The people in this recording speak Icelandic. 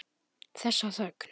Þessa þögn.